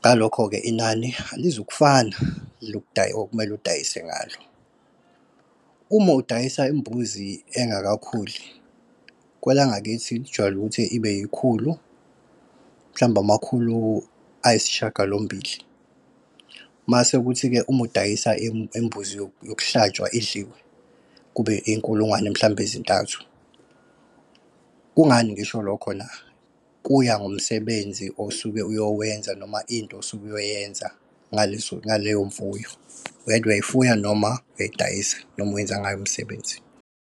ngalokho-ke inani alizukufana okumele udayise ngalo. Uma udayisa imbuzi engakakhuli, kwelangakithi kujwayele ukuthi ibe ikhulu, mhlawumbe amakhulu ayisishiyagalombili mase kuthi-ke uma udayisa imbuzi yokuhlatshwa idliwe, kube iy'nkulungwane mhlawumbe ezintathu. Kungani ngisho lokho na? Kuya ngomsebenzi osuke uyowenza noma into osuke uyoyenza ngaleyo mfuyo. Whether uyayifuya, noma uyayidayisa, noma uwenza ngayo umsebenzi.